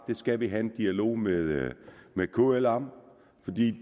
vi skal have en dialog med med kl om